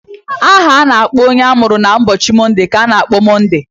Aha a na-akpọ onye amụrụ n'ụbọchị Monde ka a na-akpọ Monde.